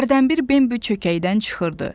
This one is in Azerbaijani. Hərdən bir Bembi çökəkdən çıxırdı.